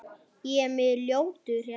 Hún á sex börn.